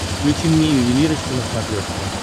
включи мне ювелирочка на смотрешке